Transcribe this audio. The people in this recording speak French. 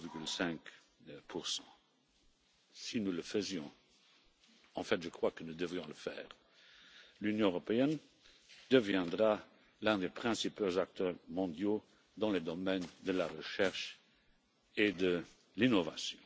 0,5 Si nous le faisons en fait, je crois que nous devrions le faire l'Union européenne deviendra l'un des principaux acteurs mondiaux dans le domaine de la recherche et de l'innovation.